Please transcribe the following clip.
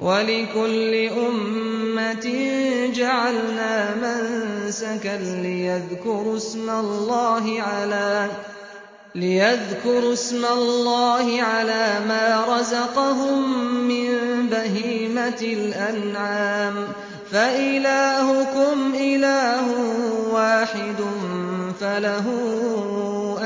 وَلِكُلِّ أُمَّةٍ جَعَلْنَا مَنسَكًا لِّيَذْكُرُوا اسْمَ اللَّهِ عَلَىٰ مَا رَزَقَهُم مِّن بَهِيمَةِ الْأَنْعَامِ ۗ فَإِلَٰهُكُمْ إِلَٰهٌ وَاحِدٌ فَلَهُ